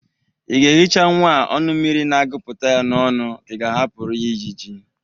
Ị ga-ehicha nwa a ọnụ mmiri na-agụpụta ya n'ọnụ ka ị ga-ahapụrụ ya ịjịjị?